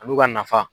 Ani ka nafa